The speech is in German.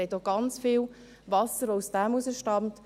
Sie haben auch ganz viel Wasser, das daraus stammt.